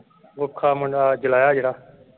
ਕੁੱਖਾਂ ਮੁੰਡਾ ਜੁਲਾਇਆ ਜਿਹੜਾ।